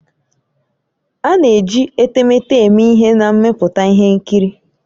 A na-eji etemeete eme ihe na mmepụta ihe nkiri